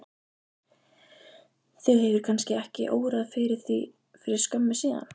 Þig hefur kannski ekki órað fyrir því fyrir skömmu síðan?